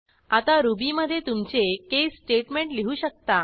आता रुबीमधे तुमचे केस स्टेटेमेंट लिहू शकता